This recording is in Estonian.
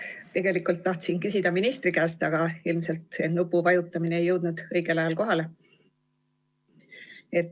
Tegelikult tahtsin küsida ministri käest, aga ilmselt nupuvajutus ei jõudnud õigel ajal kohale.